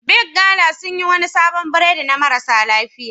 Big gala sun yi wani sabon burodi na marasa lafiya.